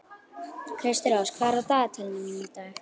Kristrós, hvað er á dagatalinu mínu í dag?